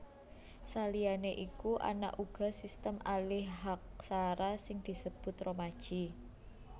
Saliyané iku ana uga sistem alihaksara sing disebut romaji